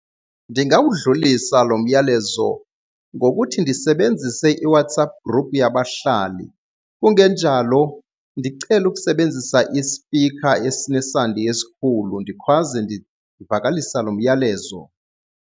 Ndingawudlulisa lo myalezo ngokuthi ndisebenzise iWhatsApp group yabahlali, kungenjalo ndicele ukusebenzisa isipikha esinesandi esikhulu ndikhwaze ndivakalisa lo myalezo.